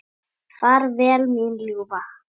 Far vel mín ljúfa.